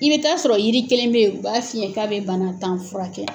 I bɛ taa sɔrɔ yiri kelen bɛ ye u b'a f'i yɛn k'a bɛ bana tan fura kɛ.